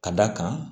Ka d'a kan